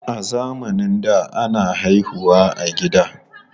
A zamanin da, ana haihu wa a gida.